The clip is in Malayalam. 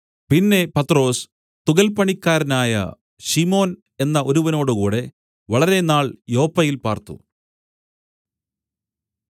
പിന്നെ പത്രൊസ് തുകൽ പണിക്കാരനായ ശിമോൻ എന്ന ഒരുവനോടുകൂടെ വളരെനാൾ യോപ്പയിൽ പാർത്തു